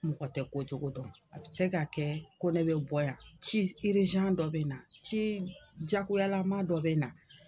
Mɔgɔ tɛ ko cogo dɔn a bɛ se ka kɛ KONE bɛ bɔ yan ci dɔ bɛ na ci jagoyalama dɔ bɛ na.